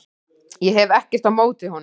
Ég hef ekkert á móti honum.